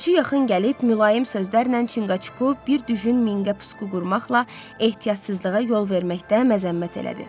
Ləpirçi yaxın gəlib, mülayim sözlərlə Çınqacuku bir düjün minqə püsku qurmaqla ehtiyatsızlığa yol verməkdə məzəmmət elədi.